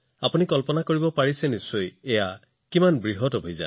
আপোনালোকে কল্পনা কৰিব পাৰে যে এইটো কিমান ডাঙৰ অভিযান